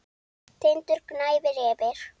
Tindur gnæfir yfir.